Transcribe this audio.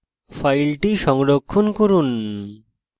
file সংরক্ষণ করুন